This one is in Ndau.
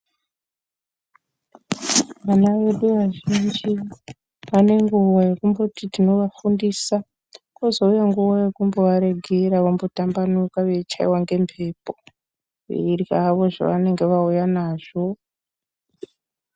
Wana wedu wazhinji wane nguwa yekumboti tinowafundisa, kozouya nguwa yekumbowaregera wombotambanuka weimbochaiwa zvawo ngemhepo, weirya zvawo zvawanenge wauya nazvo.